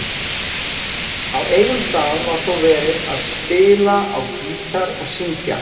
Á einum stað var þó verið að spila á gítar og syngja.